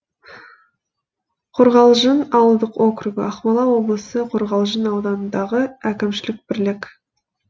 қорғалжын ауылдық округі ақмола облысы қорғалжын ауданындағы әкімшілік бірлік